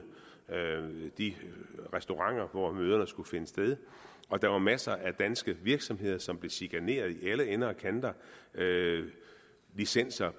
de restauranter hvor møderne skulle finde sted og der var masser af danske virksomheder som blev chikaneret i alle ender og kanter licenser